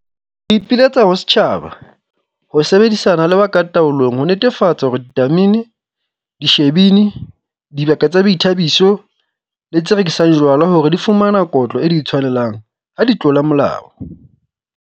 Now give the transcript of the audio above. Re ipiletsa ho setjhaba ho sebedisana le ba ka taolong ho netefatsa hore ditamene, dishibini, dibaka tsa boithabiso le tse rekisang jwala hore di fumana kotlo e di tshwanelang ha di tlola molao.